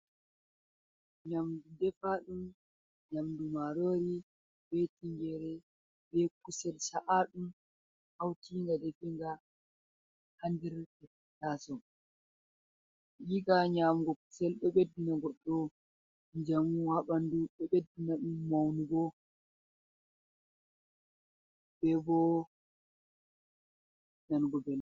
Nyamdu defaɗum, nyamdu marori be tingere, be kusel cha’aɗum, haukinga definga haa nder taso. Yiga nyamugo kucel ɗo ɓeddina goɗɗo njamu haa ɓandu, ɗo ɓeddina ɗum maunugo, bebo nanugo belɗum.